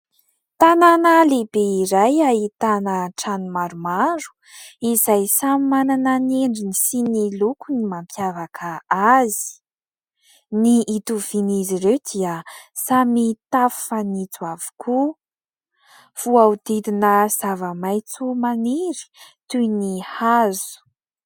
Tanàna lehibe iray ahitana trano maromaro ; izay samy manana ny endriny sy ny lokony mampiavaka azy ; ny hitovian'izy ireo dia samy tafo fanitso avokoa. Voahodidina zava-maitso maniry toy ny hazo.